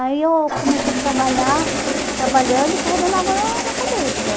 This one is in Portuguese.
Aí eu comecei a trabalhar, trabalhando e carregando água na na cabeça.